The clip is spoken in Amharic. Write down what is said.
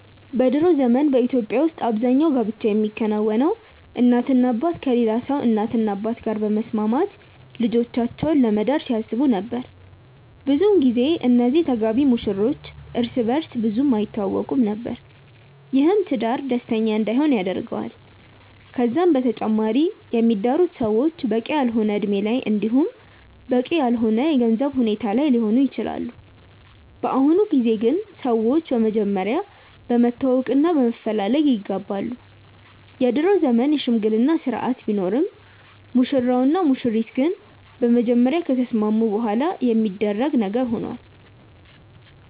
በ ድሮ ዘመን በኢትዮጵያ ውስጥ አብዛኛው ጋብቻ የሚከናወነው እናትና አባት ከሌላ ሰው እናትና አባት ጋር በመስማማት ልጆቻቸውን ለመዳር ሲያስቡ ነበር። ብዙን ጊዜ እነዚህ ተጋቢ ሙሽሮች እርስ በእርስ ብዙም አይተዋወቁም ነበር። ይህም ትዳር ደስተኛ እንዳይሆን ያደርገዋል። ከዛም በተጨማሪ የሚዳሩት ሰዎች በቂ ያልሆነ እድሜ ላይ እንዲሁም በቂ ያልሆነ የገንዘብ ሁኔታ ላይ ሊሆኑ ይችላሉ። በአሁኑ ጊዜ ግን ሰዎች በመጀመሪያ በመተዋወቅ እና በመፈላለግ ይጋባሉ። የድሮ ዘመን የሽምግልና ስርአት ቢኖርም ሙሽራው እና ሙሽሪት ግን በመጀመሪያ ከተስማሙ በኋላ የሚደረግ ነገር ሆኗል።